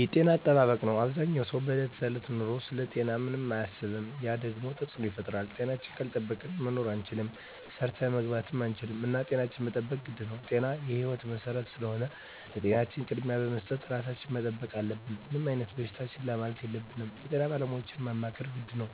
የጤና አጠባበቅ ነው አበዛኛው ሰው በዕለት ከዕለት ኑሮው ስለ ጤናው ምንም አያስብም ያ ደግሞ ተፅዕኖ ይፈጥራል። ጤናችን ካልጠበቅን መኖር አንችልም ሰርተን መግባት አንችልም እና ጤናችን መጠበቅ ግድ ነው ጤና የህይወት መሰረት ስለሆነ ለጤናችን ቅድሚያ በመስጠት ራሳችን መጠበቅ አለብን። ምንም አይነት በሽታ ችላ ማለት የለብንም የጤና ባለሙያዎችን ማማከር ግድ ነው።